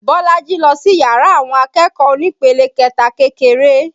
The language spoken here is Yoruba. Bolaji lọ sí yàrá àwọn akẹ́kọ̀ọ́ onípele kẹta kékeré